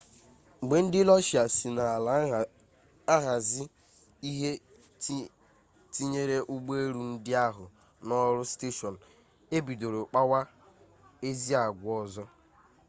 mgbe ndị rọshia si n'ala ahazi ihe tinyere ụgbọelu ndị ahụ n'ọrụ steshọn ebido kpawa ezi agwa ọzọ